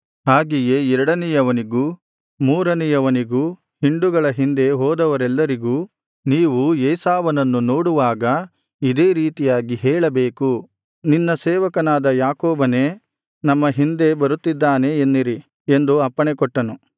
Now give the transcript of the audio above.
ಹಾಗೆಯೇ ಎರಡನೆಯವನಿಗೂ ಮೂರನೆಯವನಿಗೂ ಹಿಂಡುಗಳ ಹಿಂದೆ ಹೋದವರೆಲ್ಲರಿಗೂ ನೀವು ಏಸಾವನನ್ನು ನೋಡುವಾಗ ಇದೇ ರೀತಿಯಾಗಿ ಹೇಳಬೇಕು ನಿನ್ನ ಸೇವಕನಾದ ಯಾಕೋಬನೇ ನಮ್ಮ ಹಿಂದೆ ಬರುತ್ತಿದ್ದಾನೆ ಎನ್ನಿರಿ ಎಂದು ಅಪ್ಪಣೆಕೊಟ್ಟನು